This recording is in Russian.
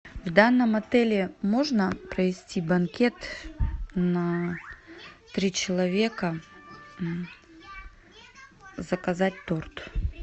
в данном отеле можно провести банкет на три человека заказать торт